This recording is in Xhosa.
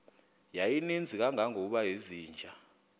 yayininzi kangangokuba izinja